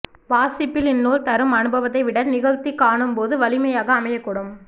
வாசிப்பில் இந்நூல் தரும் அனுபவத்தை விட நிகழ்த்திக் காணும்போது வலிமையாக அமையக்கூடும்